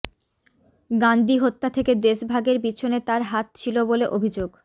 গান্দী হত্যা থেকে দেসভাগের পিছনে তাঁর হাত ছিল বলে অভিযোগ